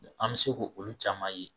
An mi se ko olu caman ye